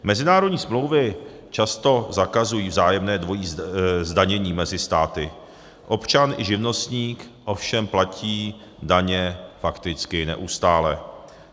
Mezinárodní smlouvy často zakazují vzájemné dvojí zdanění mezi státy, občan i živnostník ovšem platí daně fakticky neustále.